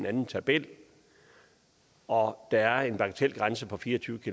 anden tabel og der er en bagatelgrænse på fire og tyve